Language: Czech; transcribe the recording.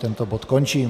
Tento bod končím.